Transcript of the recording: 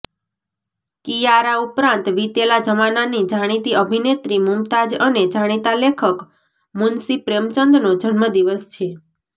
કિયારા ઉપરાંત વિતેલા જમાનાની જાણીતી અભિનેત્રી મુમતાઝ અને જાણીતા લેખત મુનશી પ્રેમચંદનો જન્મદિવસ છે